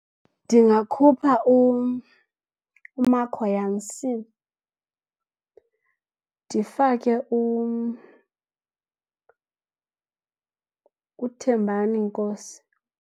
Ndingakhupha uMarco Jansen ndifake uThembani Nkosi.